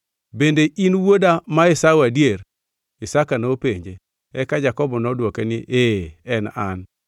“Bende in wuoda ma Esau adier?” Isaka nopenje. Eka Jakobo nodwoke ni, “Ee en an.”